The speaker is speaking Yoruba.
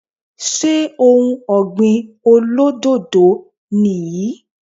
Ṣé ohun ọ̀gbìn olódòdó ni yan